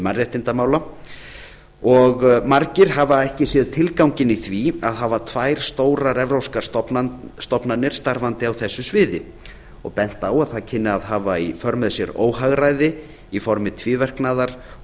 mannréttindamála og margir hafa ekki séð tilganginn í því að hafa tvær stórar evrópskar stofnanir starfandi á þessu sviði og bent á að það kynni að hafa í för með sér óhagræði í formi tvíverknaðar og